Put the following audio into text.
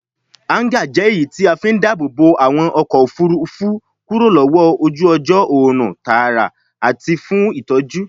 Háńgà jẹ́ èyí tí a fí ń dáàbòbo àwọn ọkọ̀ òfurufú kúrò lọ́wọ́ ojú ọjọ́, òòrùn tààrà àti fún ìtọ́jú.